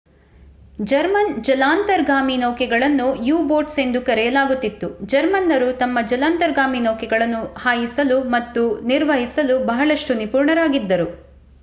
German ಜಲಾಂತರ್ಗಾಮಿ ನೌಕೆಗಳನ್ನು U boats ಎಂದು ಕರೆಯಲಾಗುತ್ತಿತ್ತು ಜರ್ಮನ್ನರು ತಮ್ಮ ಜಲಾಂತರ್ಗಾಮಿ ನೌಕೆಗಳನ್ನು ಹಾಯಿಸಲು ಮತ್ತು ನಿರ್ವಹಿಸಲು ಬಹಳಷ್ಟು ನಿಪುಣರಾಗಿದ್ದರು